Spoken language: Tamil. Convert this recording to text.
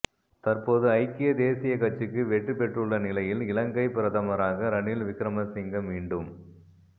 தற்போது ஐக்கிய தேசியக் கட்சிக்கு வெற்றி பெற்றுள்ள நிலையில் இலங்கை பிரதமராக ரணில் விக்கிரமசிங்க மீண்டும்